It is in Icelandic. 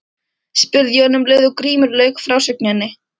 spurði Jón um leið og Grímur lauk frásögninni.